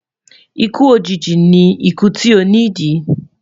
ikú òjìji ní ikú tí o ni di